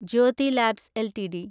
Jyothi labs LTD